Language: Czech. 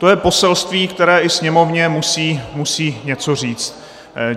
To je poselství, které i Sněmovně musí něco říct.